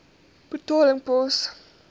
betaling pos